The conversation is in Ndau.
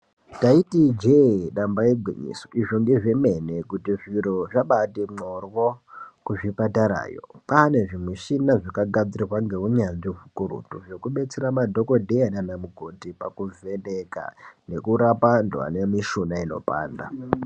Ndaiti ijee damba igwinyiso. Izvo ngezvemene kuti zviro zvambaati mhorwo kuzvipatarayo. Kwaane zvimuchina zvakagadzirwa ngeunyanzvi hukurutu zvekubetsera madhokodheya kana mukoti pakuvheneka nekurapa antu ane mishuna inopanda.